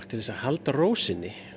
til að halda ró sinni